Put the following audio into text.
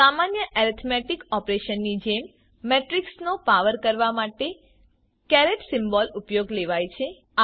સામાન્ય એરિથમેટિક ઓપરેશનની જેમ મેટ્રીક્સનો પાવર કરવા માટે કેરેટ સિમ્બોલ ઉપયોગમાં લેવાય છે